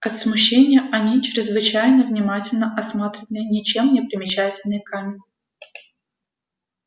от смущения они чрезвычайно внимательно осматривали ничем не примечательный камень